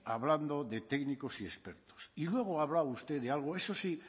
hablando de técnicos y expertos y luego ha hablado usted de algo eso sí